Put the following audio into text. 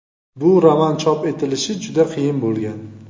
Bu roman chop etilishi juda qiyin bo‘lgan.